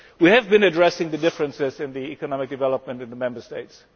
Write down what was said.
We have been addressing the differences in economic development in the Member States.